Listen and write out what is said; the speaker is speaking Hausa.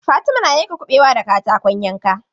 Fatima na yanka kuɓewa da katakon yanka.